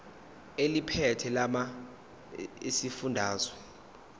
eliphethe lamarcl esifundazwe